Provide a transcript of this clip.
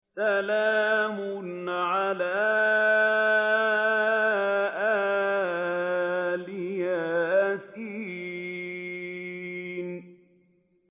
سَلَامٌ عَلَىٰ إِلْ يَاسِينَ